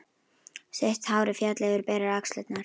Sítt hárið féll yfir berar axlirnar.